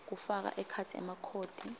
kufaka ekhatsi emakhodi